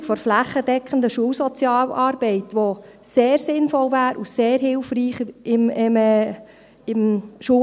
Auch die flächendeckende Einführung der Schulsozialarbeit, die sehr sinnvoll wäre und im Schulalltag sehr hilfreich ist, gehört dazu.